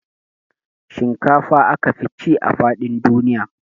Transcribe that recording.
Shinkafa aka fi ci a faɗin duniya